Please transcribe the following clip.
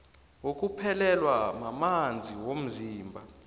wokuphelelwa mamanzi womzimba